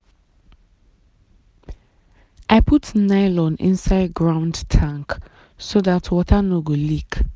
i put nylon inside ground tank so dat water no go leak.